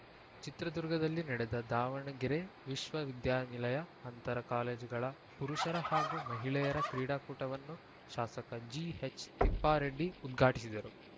ಚಿತ್ರದುರ್ಗದಲ್ಲಿ ನಡೆದ ದಾವಣಗೆರೆ ವಿಶ್ವವಿದ್ಯಾನಿಲಯ ಅಂತರ ಕಾಲೇಜುಗಳ ಪುರುಷರ ಹಾಗೂ ಮಹಿಳೆಯರ ಕ್ರೀಡಾಕೂಟವನ್ನು ಶಾಸಕ ಜಿಎಚ್‌ತಿಪ್ಪಾರೆಡ್ಡಿ ಉದ್ಘಾಟಿಸಿದರು